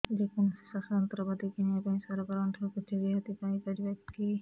ଯେ କୌଣସି ଚାଷ ଯନ୍ତ୍ରପାତି କିଣିବା ପାଇଁ ସରକାରଙ୍କ ଠାରୁ କିଛି ରିହାତି ପାଇ ପାରିବା କି